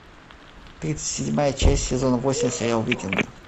тридцать седьмая часть сезон восемь сериал викинги